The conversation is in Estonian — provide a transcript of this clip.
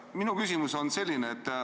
Minu küsimus on selline.